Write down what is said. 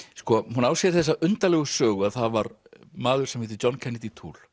hún á sér þessa undarlegu sögu að það var maður sem heitir John Kennedy